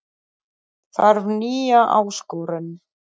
Þarf nýja áskorun